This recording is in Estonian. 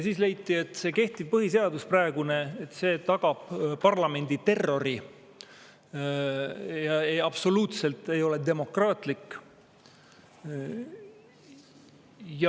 Leiti, et kehtiv põhiseadus, praegune, parlamendi terrori ja ei ole absoluutselt demokraatlik.